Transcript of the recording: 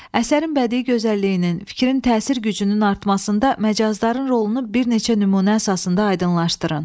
Əsərin bədii gözəlliyinin, fikrin təsir gücünün artmasında məcazların rolunu bir neçə nümunə əsasında aydınlaşdırın.